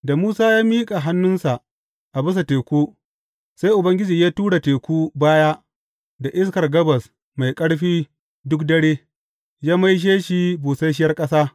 Da Musa ya miƙa hannunsa a bisa teku, sai Ubangiji ya tura teku baya da iskar gabas mai ƙarfi duk dare, ya maishe shi busasshiyar ƙasa.